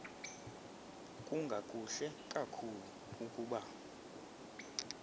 kungakuhle kakhulu ukuba